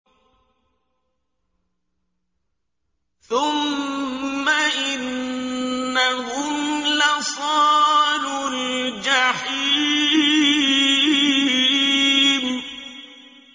ثُمَّ إِنَّهُمْ لَصَالُو الْجَحِيمِ